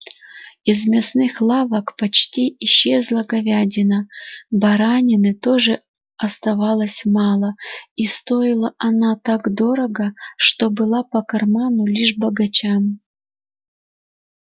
из мясных лавок почти исчезла говядина баранины тоже оставалось мало и стоила она так дорого что была по карману лишь богачам